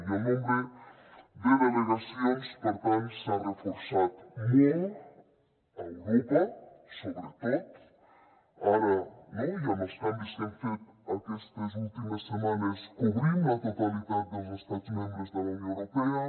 i el nombre de delegacions per tant s’ha reforçat molt a europa sobretot ara no i amb els canvis que hem fet aquestes últimes setmanes cobrim la totalitat dels estats membres de la unió europea